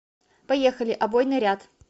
поехали обойный ряд